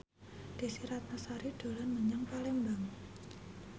Desy Ratnasari dolan menyang Palembang